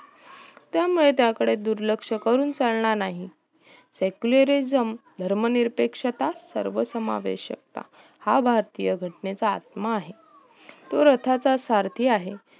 त्यामुळे त्याकडे दुर्लक्ष करून चालणार नाही secularism धर्म निरपेक्षता सर्व समवेषक ता हा भारतीय घटनेचा आत्मा आहे तो रताचा सारधी आहे